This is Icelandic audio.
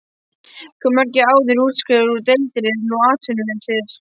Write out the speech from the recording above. Hve margir áður útskrifaðir úr deildinni eru nú atvinnulausir?